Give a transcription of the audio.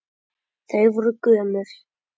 Þau voru gömul.